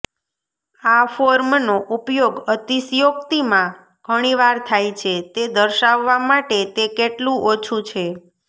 આ ફોર્મનો ઉપયોગ અતિશયોક્તિમાં ઘણીવાર થાય છે તે દર્શાવવા માટે તે કેટલું ઓછું છે